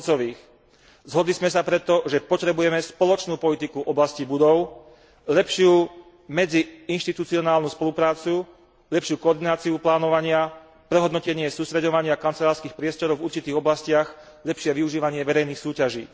2 Zhodli sme sa preto, že potrebujeme spoločnú politiku v oblasti budov, lepšiu medziinštitucionálnu spoluprácu, lepšiu koordináciu plánovania, prehodnotenie sústreďovania kancelárskych priestorov v určitých oblastiach, lepšie využívanie verejných súťaží.